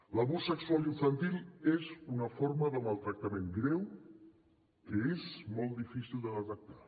l’abús sexual infantil és una forma de maltractament greu que és molt difícil de detectar